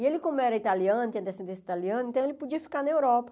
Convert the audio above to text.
E ele, como era italiano, tinha descendência italiana, então ele podia ficar na Europa.